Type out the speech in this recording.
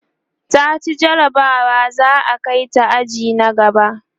taci jarabawa za'a Kai ta aji na gaba